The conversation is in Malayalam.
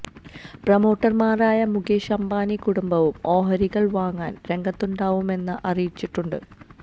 പ്രൊമോട്ടർമാരായ മുകേഷ് അംബാനി കുടുംബവും ഓഹരികൾ വാങ്ങാൻ രംഗത്തുണ്ടാവുമെന്ന് അറിയിച്ചിട്ടുണ്ട്